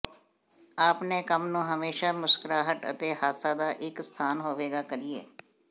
ਆਪਣੇ ਕੰਮ ਨੂੰ ਹਮੇਸ਼ਾ ਮੁਸਕਰਾਹਟ ਅਤੇ ਹਾਸਾ ਦਾ ਇੱਕ ਸਥਾਨ ਹੋਵੇਗਾ ਕਰੀਏ